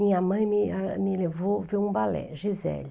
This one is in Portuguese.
Minha mãe me, ah, me levou ver um balé, Giselle.